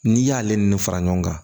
N'i y'ale ni fara ɲɔgɔn kan